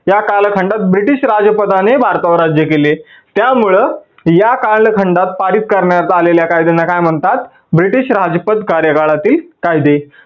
या कालखंडात ब्रिटीश राज्पादाने भारतावर राज्य केले. त्यामुळं या कालखंडात पारीद करण्यात आलेल्या कायद्यांना काय म्हणतात? ब्रिटीश राजपद कार्यकाळातील कायदे.